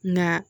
Nka